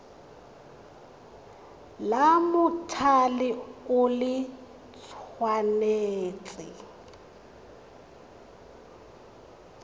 la mothale o le tshwanetse